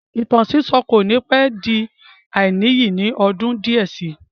Ìtàn sísọ́ kò ní pẹ́ di àìníyì ní ọdún díẹ̀ sí i